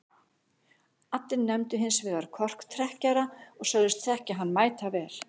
Allir nefndu hins vegar korktrekkjara og sögðust þekkja hann mætavel.